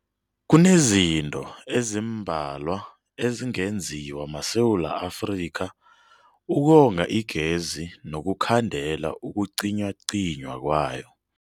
Kunezinto ezimbalwa ezingenziwa maSewula Afrika ukonga igezi nokukhandela ukucinywacinywa kwayo.